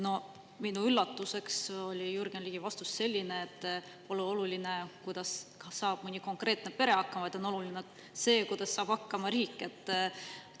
Minu üllatuseks oli Jürgen Ligi vastus selline, et pole oluline, kuidas saab mõni konkreetne pere hakkama, vaid on oluline see, kuidas saab hakkama riik.